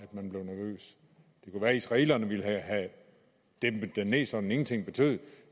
at at israelerne ville have den dæmpet så den ingenting betød